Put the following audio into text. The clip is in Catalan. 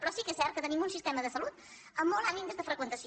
però sí que és cert que tenim un sistema de salut amb molt alt índex de freqüentació